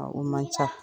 A o man ca